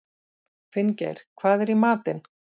Finngeir, hvað er í matinn?